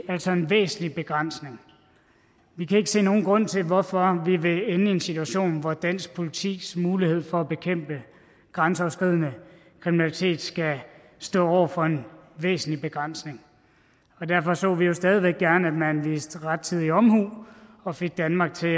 altså en væsentlig begrænsning vi kan ikke se nogen grund til hvorfor vi vil ende i en situation hvor dansk politis mulighed for at bekæmpe grænseoverskridende kriminalitet skal stå over for en væsentlig begrænsning og derfor så vi jo stadig væk gerne at man viste rettidig omhu og fik danmark til